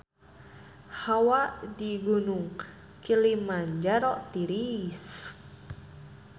Hawa di Gunung Kilimanjaro tiris